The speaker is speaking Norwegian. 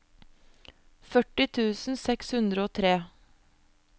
førti tusen seks hundre og tre